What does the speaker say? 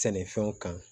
Sɛnɛfɛnw kan